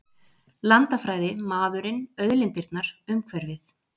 Landafræði, maðurinn, auðlindirnar, umhverfið.